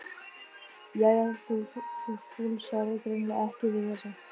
Jæja, þú fúlsar greinilega ekki við þessu.